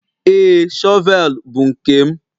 Ee, shọvel bụ nke m.